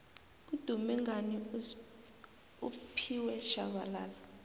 udume ngani ufphiwe shabalala